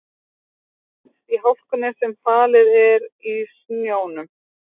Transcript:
Það finnst í hlákunni sem falið er í snjónum.